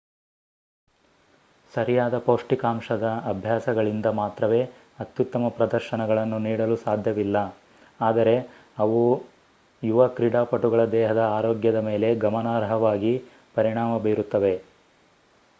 ಸರಿಯಾದ ಪೌಷ್ಠಿಕಾಂಶದ ಅಭ್ಯಾಸಗಳಿಂದ ಮಾತ್ರವೇ ಅತ್ಯುತ್ತಮ ಪ್ರದರ್ಶನಗಳನ್ನು ನೀಡಲು ಸಾಧ್ಯವಿಲ್ಲ ಆದರೆ ಅವು ಯುವ ಕ್ರೀಡಾಪಟುಗಳ ದೇಹದ ಆರೋಗ್ಯದ ಮೇಲೆ ಗಮನಾರ್ಹವಾಗಿ ಪರಿಣಾಮ ಬೀರುತ್ತವೆ